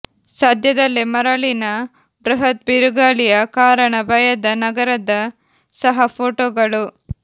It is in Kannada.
ಸದ್ಯದಲ್ಲೇ ಮರಳಿನ ಬೃಹತ್ ಬಿರುಗಾಳಿಯ ಕಾರಣ ಭಯದ ನಗರದ ಸಹ ಫೋಟೋಗಳು